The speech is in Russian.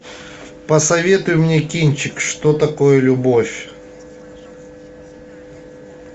посоветуй мне кинчик что такое любовь